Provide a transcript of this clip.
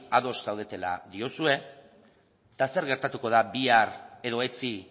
ados zaudetela diozue eta zer gertatuko da bihar edo etzi